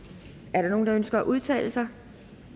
er der nogen der ønsker at udtale sig